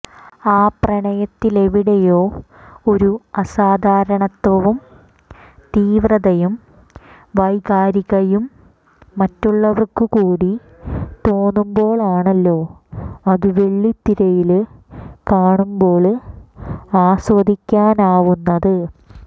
ആ പ്രണയത്തിലെവിടെയോ ഒരു അസാധാരണത്വവും തീവ്രതയും വൈകാരികയും മറ്റുള്ളവര്ക്കു കൂടി തോന്നുമ്പോഴാണല്ലോ അതു വെള്ളിത്തിരയില് കാണുമ്പോള് ആസ്വദിക്കാനാവുന്നത്